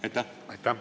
Aitäh!